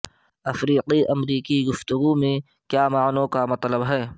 افریقی امریکی گفتگو میں کیا معنوں کا مطلب ہے